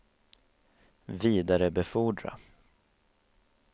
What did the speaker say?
vidarebefordra